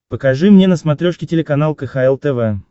покажи мне на смотрешке телеканал кхл тв